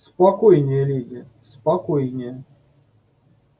спокойнее леди спокойнее